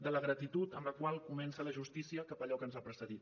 de la gratitud amb la qual comença la justícia cap a allò que ens ha precedit